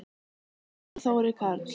Guðrún og Þórir Karl.